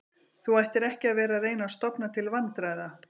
Þú ættir ekki að vera að reyna að stofna til vandræða